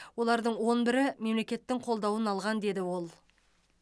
олардың он бірі мемлекеттің қолдауын алған деді ол